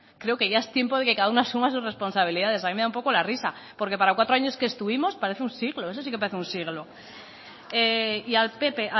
creo que ya es tiempo de que cada uno asuma sus responsabilidades a mí me da un poco la risa porque para cuatro años que estuvimos parece un siglo eso sí que parece un siglo y al pp